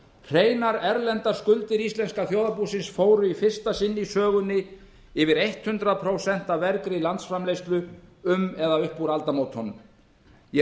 hreinar erlendar skuldir íslensk þjóðarbúsins fóru í fyrsta sinn í sögunni yfir hundrað prósent af vergri landsframleiðslu um eða upp úr aldamótunum ég